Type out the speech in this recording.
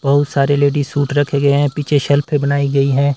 बहुत सारे ladies suit रखे गए हैं पीछे शेल्फे बनाई गई है।